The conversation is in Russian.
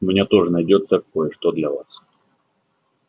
у меня тоже найдётся кое-что для вас